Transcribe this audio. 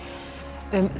um